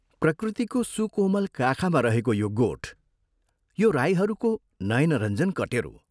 प्रकृतिको सुकोमल काखमा रहेको यो गोठ, यो राईहरूको नयनरञ्जन कटेरो!